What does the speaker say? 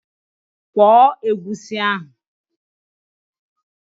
Kwọọ egusi ahụ!